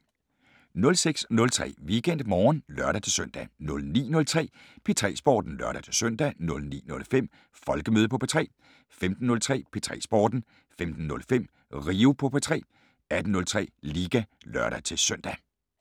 06:03: WeekendMorgen (lør-søn) 09:03: P3 Sporten (lør-søn) 09:05: Folkemøde på P3 15:03: P3 Sporten 15:05: Rio på P3 18:03: Liga (lør-søn)